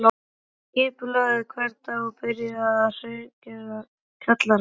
Hún skipulagði hvern dag og byrjaði á að hreingera kjallarann